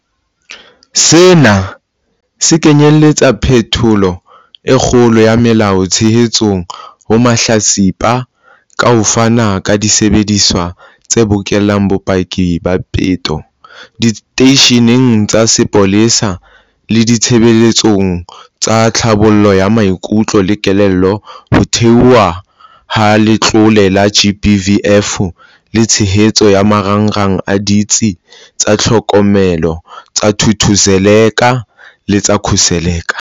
Sena se kenyeletsa phetholo e kgolo ya molao, tshehetso ho mahlatsipa ka ho fana ka disebediswa tse bokellang bopaki ba peto diteisheneng tsa sepolesa le ditshebeletso tsa tlhabollo ya maikutlo le kelello, ho theohwa ha Letlole la GBVF le tshehetso ya marangrang a Ditsi tsa Tlhokomelo tsa Thuthuzela le tsa Khuseleka.